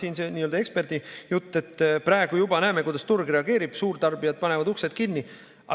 Siin oli see nii-öelda eksperdi jutt, et praegu juba näeme, kuidas turg reageerib, suurtarbijad panevad uksed kinni.